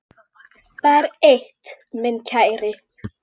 Það er eitt, minn kæri.